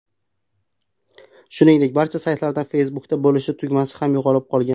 Shuningdek, barcha saytlardan Facebook’da bo‘lishish tugmasi ham yo‘qolib qolgan.